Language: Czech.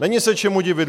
Není se čemu divit!